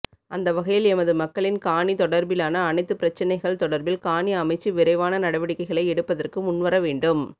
அந்தவகையில் எமது மக்களின் காணி தொடர்பிலான அனைத்துப் பிரச்சினைகள் தொடர்பில் காணி அமைச்சு விரைவான நடவடிக்கைகளை எடுப்பதற்கு முன்வர வேண்டும்